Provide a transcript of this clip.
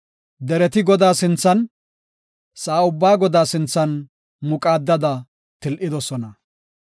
Dereti Godaa sinthan, sa7aa ubbaa Godaa sinthan muqaadada til7idosona.